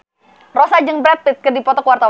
Rossa jeung Brad Pitt keur dipoto ku wartawan